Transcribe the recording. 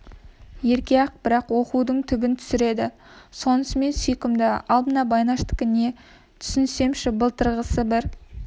ерке-ақ бірақ оқудың түбін түсіреді сонысымен сүйкімді ал мына байнаштікі не түсінсемші былтырғысы бір